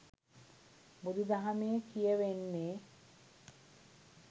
බුදු දහමේ කියැවෙන්නේ.